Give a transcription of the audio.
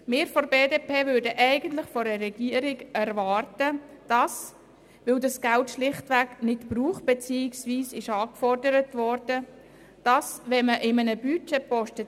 Wir von der BDP erwarten von der Regierung, dass nicht verwendetes beziehungsweise nicht angefordertes Geld zu einer schnelleren Anpassung des Budgets führt.